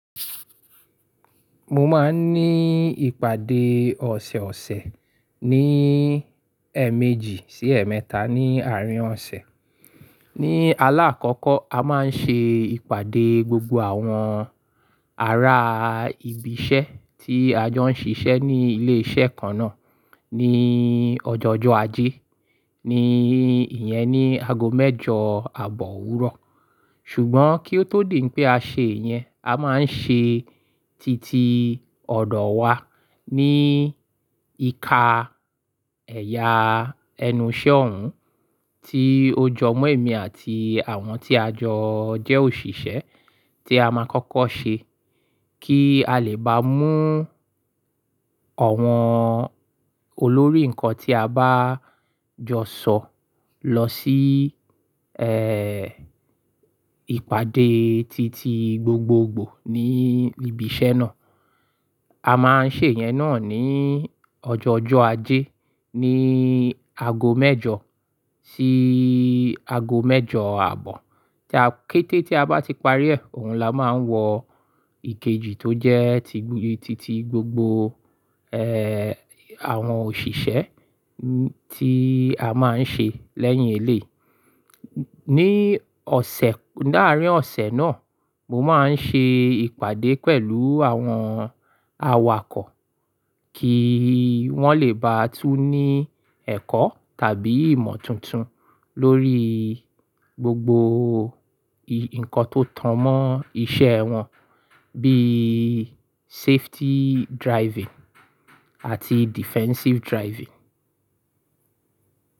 Mo máa ń ní ìpàdé ọ̀sẹ̀ọ̀sẹ̀ ní ẹ̀ẹ̀méjì sí ẹ̀ẹ̀mẹ́ta ní àárín ọ̀sẹ̀. Ni alákọ̀ọ́kọ́, a máa ń ṣe ìpàdé gbogbo àwọn ará ibi iṣẹ́ tí a jọ ń ṣiṣẹ́ ní ilé iṣẹ́ kan náà ní ọjọ́ ọjọ́ ajé, ní ìyẹn ni aago mẹ́jọ àbọ̀ òwúrọ̀. Ṣùgbọ́n kí ó tó dì pé a ṣe ìyẹn, a máa ń ṣe titi ọ̀dọ̀ wa ní ìka ẹ̀yà ẹnu iṣẹ́ òun tí ó jọ mọ́ èmi àti àwọn tí a jọ jẹ́ òṣìṣẹ́ tí a máa kọ́kọ́ ṣe kí a lè bá mú ọ̀wọ́n olórí nǹkan tí a bá jọ sọ̀ lọ sí, ẹ́, ìpàdé titi gbogbogbò ní ibi iṣẹ́ náà. A máa ń ṣe ìyẹn náà ní ọjọ́ ọjọ́ ajé ní aago mẹ́jọ sí aago mẹ́jọ àbọ̀. Kété tí a bá ti parí ẹ̀, òun la máa ń wọ ìkejì tó jẹ́ titi gbogbo, ẹ́, àwọn òṣìṣẹ́ tí a máa ń ṣe lẹ́yìn eléyii. Ní ọ̀sẹ̀, láàárín ọ̀sẹ̀ náà, mo máa ń ṣe ìpàdé pẹ̀lú àwọn awakọ̀ kí wọ́n lè bá tún ní ẹ̀kọ́ tàbí ìmọ̀ tuntun lórí gbogbo nǹkan tó tan mọ́ iṣẹ́ wọn bí safety driving àti defensive driving.